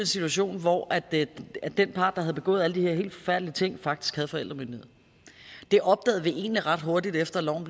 situation hvor den part der havde begået alle de her helt forfærdelige ting faktisk havde forældremyndigheden det opdagede vi egentlig ret hurtigt efter at loven